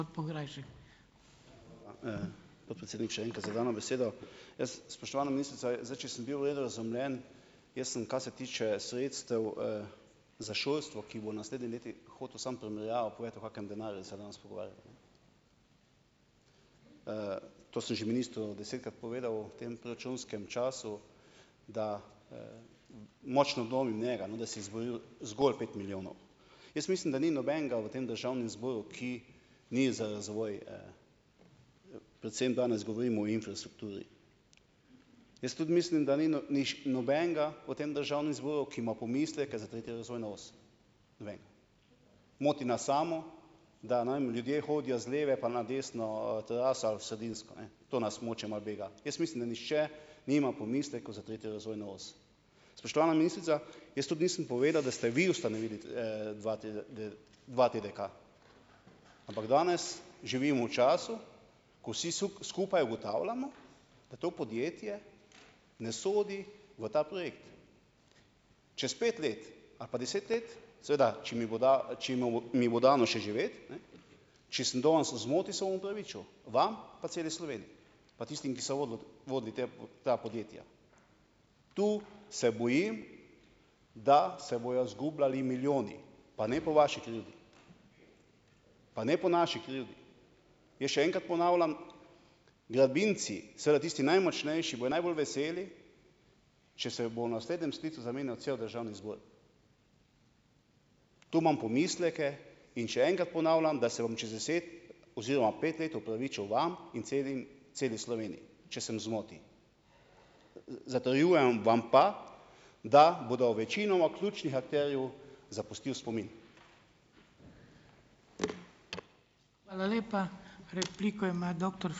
Podpredsednik še enkrat za dano besedo. Jaz, spoštovana ministrica, zdaj, če sem bil v redu razumljen, jaz sem, kar se tiče sredstev, za šolstvo, ki bo v naslednjih letih, hotel samo primerjavo povedati, o kakem denarju se danes pogovarjam. to sem že ministru desetkrat povedal v tem proračunskem času, da, močno dvomim njega, no, da si je izboril zgol pet milijonov. Jaz mislim, da ni nobenega v tem državnem zboru, ki ni za razvoj, predvsem danes govorimo o infrastrukturi. Jaz tudi mislim, da ni no nobenega v tem državnem zboru, ki ima pomisleke za tretjo razvojno os. Noben. Moti nas samo, da ljudje hodijo z leve pa na desno, terasa vsebinsko, ne. To nas mogoče malo bega. Jaz mislim, da nihče nima pomislekov za tretjo razvojno os. Spoštovana ministrica, jaz tudi nisem povedal, da ste ustanovili dva dva TDK. Ampak danes živimo v času, ko vsi skupaj ugotavljamo, da to podjetje ne sodi v ta projekt. Čez pet let ali pa deset let, seveda, če mi bo mi bo dano še živeti, ne, če sem danes v zmoti, se bom opravičil. Vam pa celi Sloveniji. Pa tistim, ki so vodili te, ta podjetja. Tu se boji, da se bojo izgubljali milijoni. Pa ne po vaši krivdi. Pa ne po naši krivdi. Jaz še enkrat ponavljam. Gradbinci, seveda tisti najmočnejši, bojo najbolj veseli, če se bo v naslednjem sklicu zamenjal cel državni zbor. To imam pomisleke in še enkrat ponavljam, da se bom čez deset oziroma pet let opravičil vam in celi Sloveniji. Če sem v zmoti. zatrjujem vam pa, da bodo večinoma ključnih akterjev zapustil spomin.